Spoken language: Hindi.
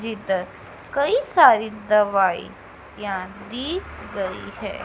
भीतर कई सारी दवाई ज्ञान दी गई है।